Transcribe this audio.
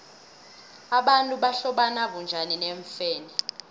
abantu bahlobana bunjani neemfene